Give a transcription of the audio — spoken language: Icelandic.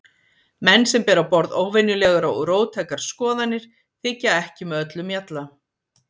Menn sem bera á borð óvenjulegar og róttækar skoðanir þykja ekki með öllum mjalla.